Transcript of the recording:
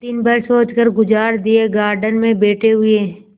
दिन भर सोचकर गुजार दिएगार्डन में बैठे हुए